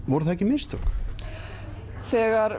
voru það ekki mistök þegar